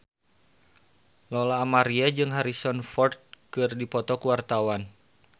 Lola Amaria jeung Harrison Ford keur dipoto ku wartawan